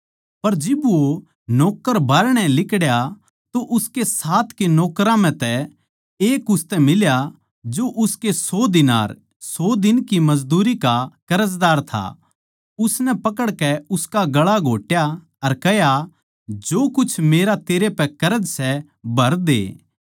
पर जिब वो नौक्कर बाहरणै लिकड़या तो उसके साथ के नौकरां म्ह तै एक उसतै फेट्या जो उसके सौ दीनार 100 दिन की मजदूरी का कर्जदार था उसनै पकड़कै उसका गला घोट्या अर कह्या जो कुछ मेरा तेरै पै कर्ज सै भर दे